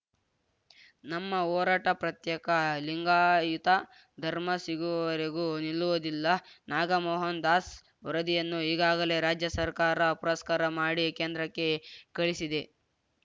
ನಮ್ಮ ಹೋರಾಟ ಪ್ರತ್ಯೇಕ ಲಿಂಗಾಯತ ಧರ್ಮ ಸಿಗುವವರೆಗೂ ನಿಲ್ಲುವುದಿಲ್ಲ ನಾಗಮೋಹನದಾಸ್‌ ವರದಿಯನ್ನು ಈಗಾಗಲೇ ರಾಜ್ಯ ಸರ್ಕಾರ ಪುರಸ್ಕಾರ ಮಾಡಿ ಕೇಂದ್ರಕ್ಕೆ ಕಳಿಸಿದೆ